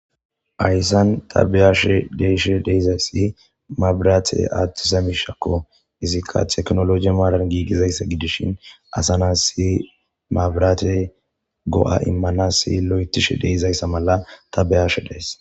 hayssan ta beyashe deyshe deizayssi mabraate aattisa mishakko izikka teknologi maadan giigizayssa gidishin asanas si mabrate go7a immana si lo7etishe deizayssa mala ta behashe days